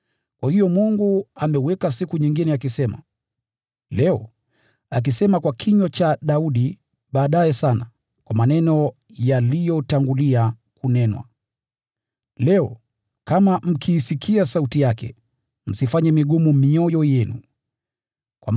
Kwa hiyo Mungu ameweka siku nyingine, akaiita Leo, akisema kwa kinywa cha Daudi baadaye sana, kwa maneno yaliyotangulia kunenwa: “Leo, kama mkiisikia sauti yake, msiifanye mioyo yenu migumu.”